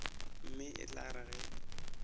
mme e tla re ge